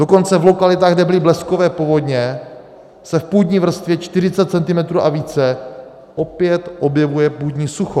Dokonce v lokalitách, kde byly bleskové povodně, se v půdní vrstvě 40 cm a více opět objevuje půdní sucho.